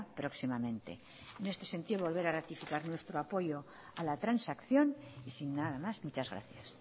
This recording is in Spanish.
próximamente en este sentido volver a ratificar nuestro apoyo a la transacción y sin nada más muchas gracias